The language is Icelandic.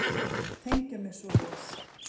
Tengja mig svoleiðis.